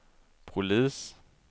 polis